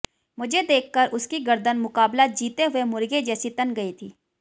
मुझे देख कर उसकी गर्दन मुकाबला जीते हुए मुर्गे जैसी तन गई थी